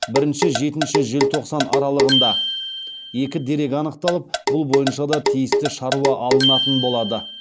бірінші жетінші желтоқсан аралығында екі дерек анықталып бұл бойынша да тиісті шаруа алынатын болады